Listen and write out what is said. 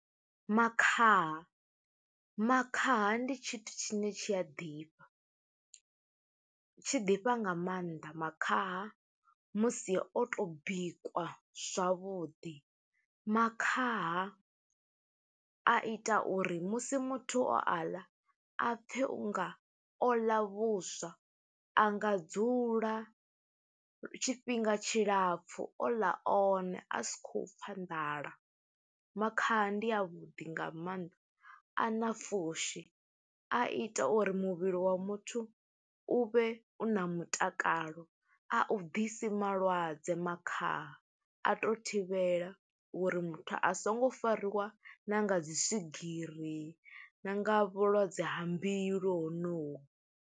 Makhaha. Makhaha ndi tshithu tshine tshi a ḓifha, tshi ḓifha nga maanḓa makhaha musi o to bikwa zwavhuḓi. Makhaha a ita uri musi muthu o aḽa, a pfe unga o ḽa vhuswa, a nga dzula tshifhinga tshilapfu o ḽa one, a si khou pfa nḓala. Makhaha ndi a vhuḓi nga mannḓa, a na pfushi, a ita uri muvhili wa muthu u vhe u na mutakalo. A u ḓisi malwadze makhaha, a to thivhela uri muthu a songo fariwa na nga dzi swigiri, na nga vhulwadze ha mbilu ho noho.